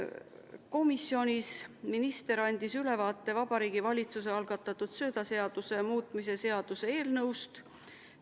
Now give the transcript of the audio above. Komisjonis andis minister ülevaate Vabariigi Valitsuse algatatud söödaseaduse muutmise seaduse eelnõust.